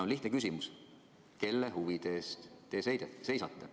Lihtne küsimus: kelle huvide eest te seisate?